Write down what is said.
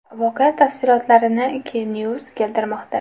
Voqea tafsilotlarini K-News keltirmoqda .